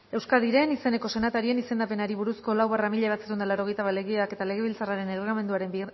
euskadiren izeneko senatarien izendapenari buruzko lau barra mila bederatziehun eta laurogeita bat legeak eta legebiltzarraren erregelamenduaren